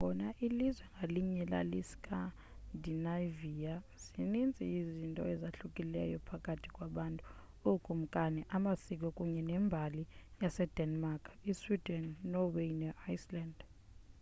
nangona ilizwe ngalinye lali scandinavia' zininzi izinto ezahlukileyo phakathi kwabantu ookumkani amasiko kunye nembali yasedenmark isweden inorway neiceland